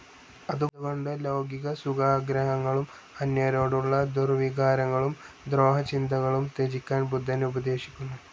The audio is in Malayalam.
അതുകൊണ്ട് ലൗകികസുഖാഗ്രഹങ്ങളും അന്യരോടുള്ള ദുർ‌വികാരങ്ങളും ദ്രോഹചിന്തകളും ത്യജിക്കാൻ ബുദ്ധൻ ഉപദേശിക്കുന്നു.